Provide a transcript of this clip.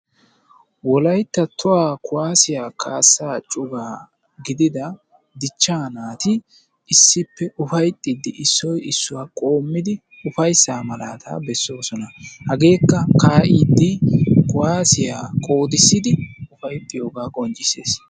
Wolaytta tohuwa kuwassiya kaassa cubaa gidida dichcha naati issipe ufayttidi issoy issuwa qommidi ufayssa malaata beesosona. Hageeka ka'iidi kuwasiya qoodisidi ufayttiyoga qonccissees.